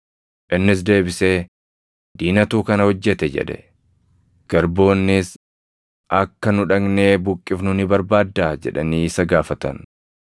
“Innis deebisee, ‘Diinatu kana hojjete’ jedhe. “Garboonnis, ‘Akka nu dhaqnee buqqifnu ni barbaaddaa?’ jedhanii isa gaafatan.